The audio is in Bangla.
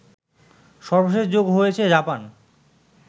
সর্বশেষ যোগ হয়েছে জাপান